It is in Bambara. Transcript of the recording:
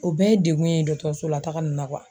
O bɛɛ ye degun ye dɔgɔtɔrɔso la taga na